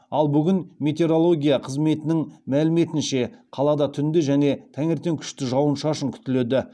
ал бүгін метереология қызметінің мәліметінше қалада түнде және таңертең күшті жауын шашын күтіледі